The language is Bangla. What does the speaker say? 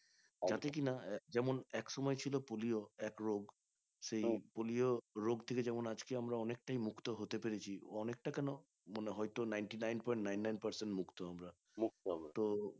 যাতে কিনা যেমন এক সময় ছিল পোলিও এক রোগ সেই পোলিও রোগটিকে যেমন আজকে আমরা অনেকটাই মুক্ত হতে পেরেছি অনেকটা কেন হয়তো মনে হয় তো ninety nine point nine nine percent মুক্ত আমরা তো